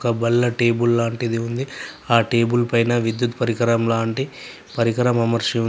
ఒక బల్ల టేబుల్ లాంటిది ఉంది. ఆ టేబుల్ పైన విద్యుత్ పరికరం లాంటి పరికరం అమర్చి ఉంది.